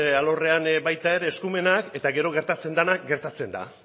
alorrean baita ere eskumenak eta gero gertatzen dena gertatzen da